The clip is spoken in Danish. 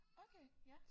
Okay ja